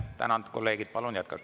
Tänan, kolleegid!